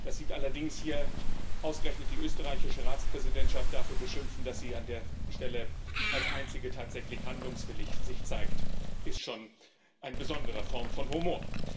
Dass Sie allerdings hier ausgerechnet die österreichische Ratspräsidentschaft dafür beschimpfen, dass sie sich an der Stelle als einzige tatsächlich handlungswillig zeigt, ist schon eine besondere Form von Humor.